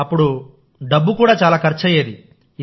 అప్పుడు డబ్బు కూడా ఖర్చయ్యేది